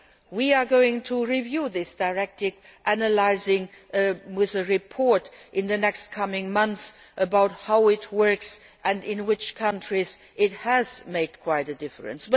We are going to review this directive, analysing, with a report in the coming months, how it works and in which countries it has made quite a difference.